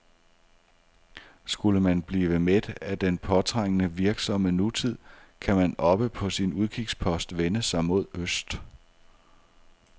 Skulle man blive mæt af den påtrængende, virksomme nutid, kan man oppe på sin udkigspost vende sig mod øst.